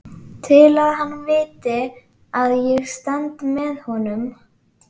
Til að hann viti að ég stend með honum.